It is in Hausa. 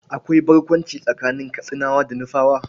Akwai barkwanci tsakanin Katsinawa da Nufawa.